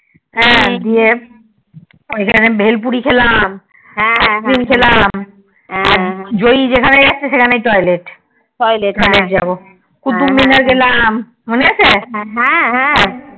দিয়ে স্থানে ভেল পুরি খেলাম Ice cream খেলাম জয় যেখানে যাচ্ছে সেখানেই toilet কুতুব মিনার গেলাম মনে আছে